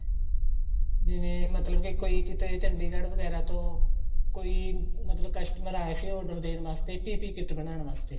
ਜਿਵੇਂ ਮਤਲਬ ਕੇ ਕੋਈ ਕੀਤੇ ਚੰਡੀਗੜ੍ਹ ਵਗੈਰਾ ਤੋ ਕੋਈ ਮਤਲਬ customer ਆਇਆ ਸੀ order ਦੇਣ ਵਾਸਤੇ PPE kit ਬਣਾਉਣ ਵਾਸਤੇ